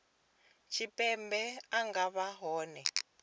tshipembe a nga vha hone